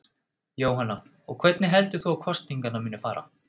Jóhanna: Og hvernig heldur þú að kosningarnar muni fara?